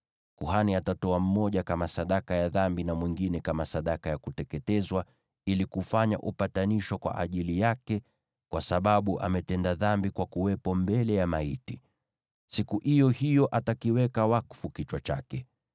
Kuhani atatoa mmoja kama sadaka ya dhambi, na mwingine kama sadaka ya kuteketezwa ili kufanya upatanisho kwa ajili yake kwa sababu ametenda dhambi kwa kuwepo mbele ya maiti. Siku iyo hiyo atakiweka wakfu kichwa chake.